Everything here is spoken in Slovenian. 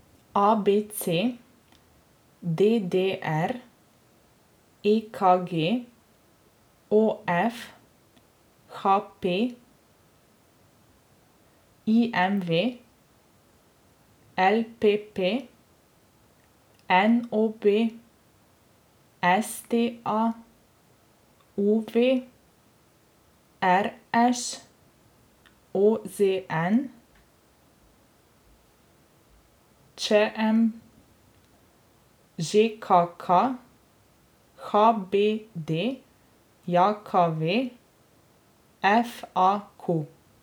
A B C; D D R; E K G; O F; H P; I M V; L P P; N O B; S T A; U V; R Š; O Z N; Č M; Ž K K; H B D J K V; F A Q.